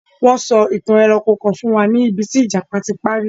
Wọ́n sọ ìtàn ẹranko kan fún wa níbí tí ìjàpá ti párí.